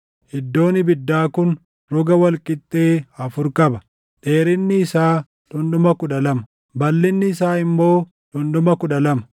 Iddoon ibiddaa kun roga wal qixxee afur qaba; dheerinni isaa dhundhuma kudha lama, balʼinni isaa immoo dhundhuma kudha lama: